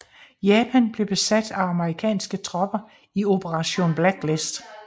Japan blev besat af amerikanske tropper i Operation Blacklist